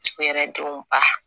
U yɛrɛ denw ba